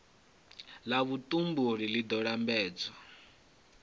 la vhutumbuli li do lambedza